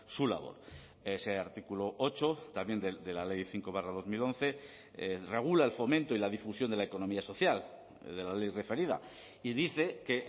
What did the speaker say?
su labor ese artículo ocho también de la ley cinco barra dos mil once regula el fomento y la difusión de la economía social de la ley referida y dice que